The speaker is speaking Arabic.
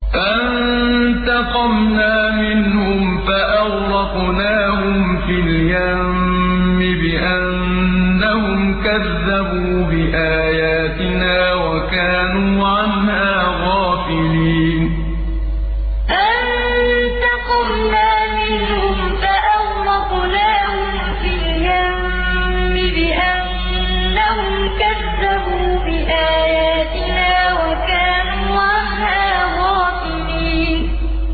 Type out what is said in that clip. فَانتَقَمْنَا مِنْهُمْ فَأَغْرَقْنَاهُمْ فِي الْيَمِّ بِأَنَّهُمْ كَذَّبُوا بِآيَاتِنَا وَكَانُوا عَنْهَا غَافِلِينَ فَانتَقَمْنَا مِنْهُمْ فَأَغْرَقْنَاهُمْ فِي الْيَمِّ بِأَنَّهُمْ كَذَّبُوا بِآيَاتِنَا وَكَانُوا عَنْهَا غَافِلِينَ